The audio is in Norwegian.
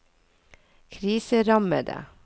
kriserammede